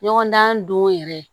Ɲɔgɔndan don yɛrɛ